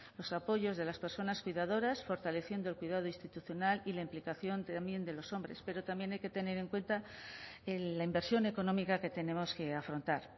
los apoyos a las personas cuidadoras fortaleciendo el cuidado institucional y la implicación también de los hombres pero también hay que tener en cuenta la inversión económica que tenemos que afrontar